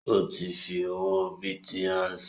Ó ti fi owó bìtì ránsẹ́